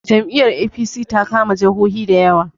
Jam'i yar A.p.c ta kama jahohi da yawa